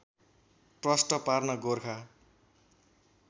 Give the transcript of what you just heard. प्रष्ट पार्न गोर्खा